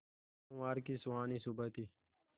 सोमवार की सुहानी सुबह थी